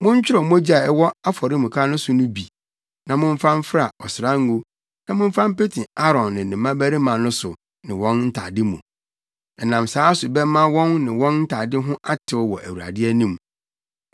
Montworɔw mogya a ɛwɔ afɔremuka no so no bi na momfa mfra ɔsrango na momfa mpete Aaron ne ne mmabarima no so ne wɔn ntade mu. Ɛnam saa so bɛma wɔn ne wɔn ntade ho atew wɔ Awurade anim.